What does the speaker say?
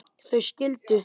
þau skildu.